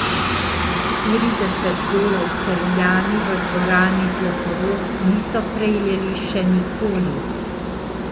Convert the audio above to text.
Štirideset golov Celjani v dvorani Zlatorog niso prejeli še nikoli.